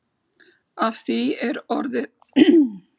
Af því er orðið heillaráð augljóslega dregið.